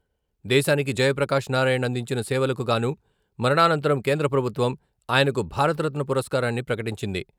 దేశానికి జయప్రకాష్ నారాయణ్ అందించిన సేవలకుగాను మరణానంతరం కేంద్రప్రభుత్వం ఆయనకు భారతరత్న పురస్కారాన్ని ప్రకటించింది.